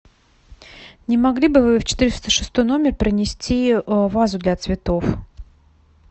не могли бы вы в четыреста шестой номер принести вазу для цветов